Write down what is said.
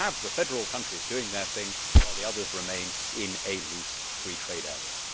We can have the federal countries doing their thing, while the others remain in a loose free trade area.